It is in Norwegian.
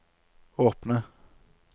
åpne